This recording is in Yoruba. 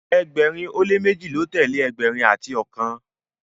ẹgbẹrin o le meji ló telee ẹgbẹrin ati ọkan